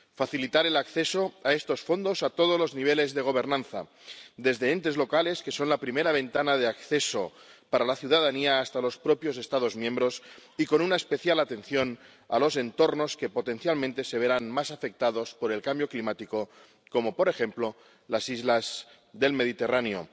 facilitar el acceso a estos fondos a todos los niveles de gobernanza, desde entes locales, que son la primera ventana de acceso para la ciudadanía, hasta los propios Estados miembros, y con una especial atención a los entornos que potencialmente se verán más afectados por el cambio climático, como por ejemplo las islas del Mediterráneo